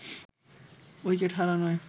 wicket হারানোয়